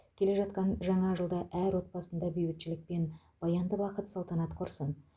келе жатқан жаңа жылда әр отбасында бейбітшілік пен баянды бақыт салтанат құрсын